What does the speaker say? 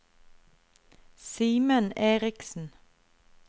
Simen Erichsen